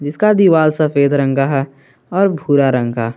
इसका दीवाल सफेद रंग है और भूरा रंग का।